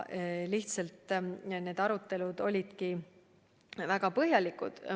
Lihtsalt need arutelud olidki väga põhjalikud.